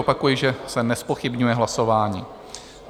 Opakuji, že se nezpochybňuje hlasování.